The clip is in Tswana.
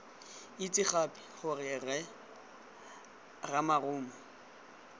itse gape gore rre ramarumo